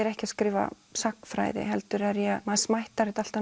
ekki að skrifa sagnfræði heldur maður smættar þetta alltaf